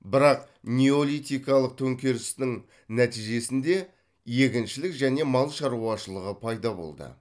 бірақ неолитикалық төңкерістің нәтижесінде егіншілік және мал шаруашылығы пайда болды